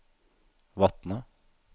Vatne